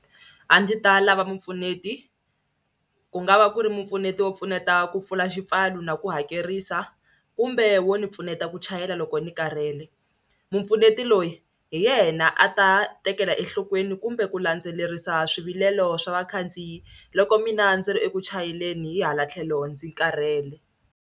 A ndzi ta lava mupfuneti ku nga va ku ri mupfuneti wo pfuneta ku pfula xipfalo na ku hakerisa kumbe wo ni pfuneta ku chayela loko ni karhele. Mupfuneti loyi hi yena a ta tekela enhlokweni kumbe ku landzelerisa swivilelo swa vakhandziyi loko mina ndzi ri eku chayeleni hi hala tlhelo ndzi karhele.